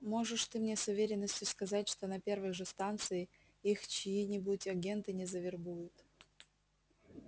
можешь ты мне с уверенностью сказать что на первой же станции их чьи-нибудь агенты не завербуют